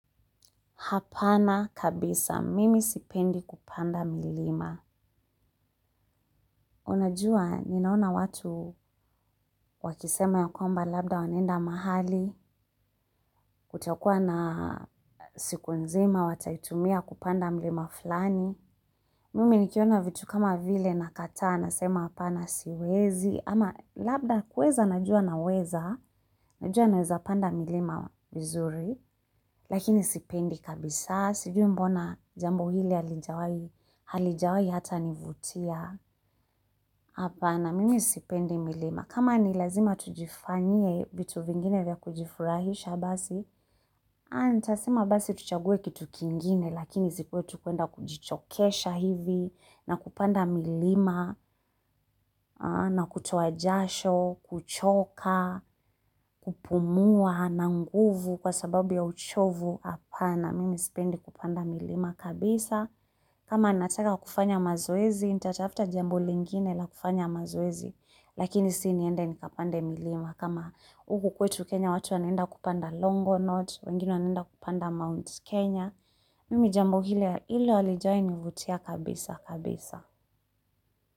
Hapana kabisa, mimi sipendi kupanda milima. Unajua, ninaona watu wakisema ya kwamba labda wanenda mahali, kutakua na siku nzima, watayitumia kupanda milima fulani. Mimi nikiona vitu kama vile nakataa, nasema hapana siwezi. Ama labda kweza, najua naweza. Najua naweza panda milima mizuri. Lakini sipendi kabisa. Sijui mbona jambo hili halijawai hata nivutia. Hapana, mimi sipendi milima. Kama ni lazima tujifanyie vitu vingine vya kujifurahisha basi, anitasema basi tuchaguwe kitu kingine, lakini zikuwe tukuenda kujichokesha hivi, na kupanda milima, na kutuojasho, kuchoka, kupumua, na nguvu kwa sababu ya uchovu. Hapana, mimi sipendi kupanda milima kabisa. Kama nataka kufanya mazoezi, nitatafta jambo lingine la kufanya mazoezi, lakini siniende nikapande milima. Kama uku kwetu Kenya watu wanenda kupanda Longo Notch, wengine wanenda kupanda Mount Kenya, mimi jambo hile hile walijainivutia kabisa kabisa.